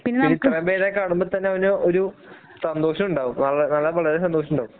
ഇത്രയും പേരെ കാണുമ്പോ തന്നെ അവന് ഒരു സന്തോഷമുണ്ടാകും വള വളരെ വളരെ സന്തോഷമുണ്ടാവും